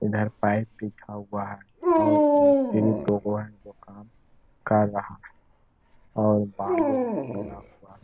इधर पाइप लिखा हुआ है और मिस्त्री दो गो है जो काम कर रहा है और बालू उलू गिरा हुआ है।